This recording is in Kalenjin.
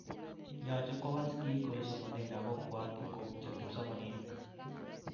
Yoche kowal sigik olesomanen lagokwak ingoputyo kipsomaninik